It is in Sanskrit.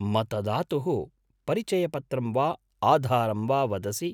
मतदातुः परिचयपत्रं वा आधारं वा वदसि?